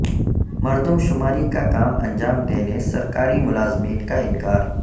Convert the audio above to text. مردم شماری کا کام انجام دینے سرکاری ملازمین کا انکار